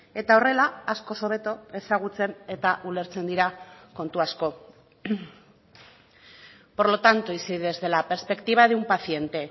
eta horrela askoz hobeto ezagutzen eta ulertzen dira kontu asko por lo tanto y si desde la perspectiva de un paciente